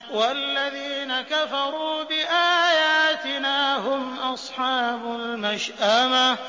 وَالَّذِينَ كَفَرُوا بِآيَاتِنَا هُمْ أَصْحَابُ الْمَشْأَمَةِ